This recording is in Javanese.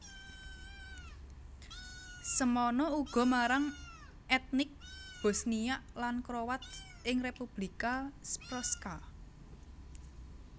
Semana uga marang ètnik Bosniak lan Kroat ing Republika Srpska